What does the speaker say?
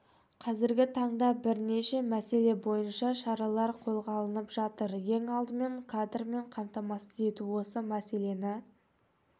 қазіргі таңда бірнеше мәселе бойынша шаралар қолға алынып жатыр ең алдымен кадрмен қамтамасыз ету осы мәселені